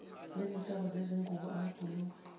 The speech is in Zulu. ngezinhlobo zezingubo amabhulukwe